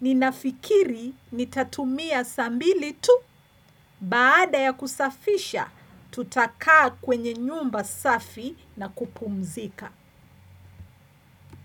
Ninafikiri nitatumia saa mbili tu baada ya kusafisha tutakaa kwenye nyumba safi na kupumzika.